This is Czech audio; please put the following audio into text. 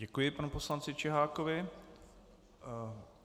Děkuji panu poslanci Čihákovi.